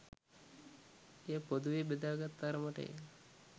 එය පොදුවේ බෙදාගත් තරමටය